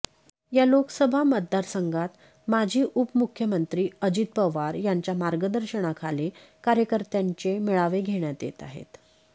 या लोकसभा मतदारसंघात माजी उपमुख्यमंत्री अजित पवार यांच्या मार्गदर्शनाखाली कार्यकर्त्यांचे मेळावे घेण्यात येत आहेत